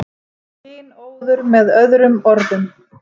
Kynóður með öðrum orðum.